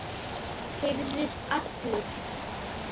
Herðist allur.